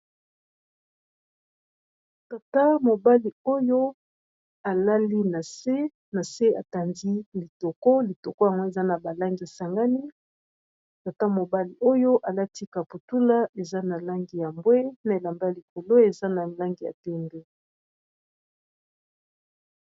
tata mobali oyo alali aena se atandi litoko litoko yango eza na balangi y sangani tata mobali oyo alati kaputula eza na langi ya mbwe na elamba likolo eza na langi ya tenbe